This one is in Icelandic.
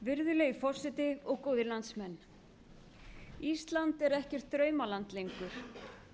virðulegi forseti og góðir landsmenn ísland er ekkert draumaland lengur